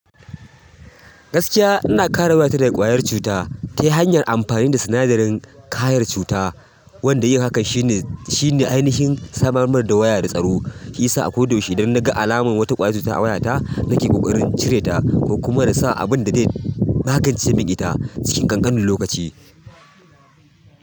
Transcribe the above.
Gaskiya ana ina kare wayata yarinya da ƙwayar cuta ta hanyar amfani da sinadarin ƙayar cuta. Wanda yin hakan shine, shine ainihin samar da waya da tsaro. Shiyasa a koda yaushe idan na ga alamar wata ƙwayar cuta a wayata nake ƙoƙarin cire ta kuma da sa abin da zai magance ce man ita cikin ƙanƙanin lokaci.